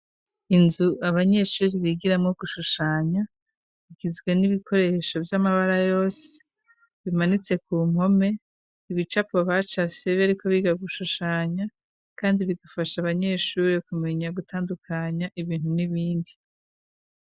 Inzu abanyeshuri bigiramwo gushushanya bigizwe n'ibikoresho vy'amabara yose bimanitse ku mpome. Ibicapo bacafye bariko biga gushushanya kandi bigafasha abanyeshuri kumenya gutandukanya ibintu n'ibindi.